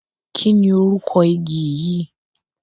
kínni orúkọ igi yìí?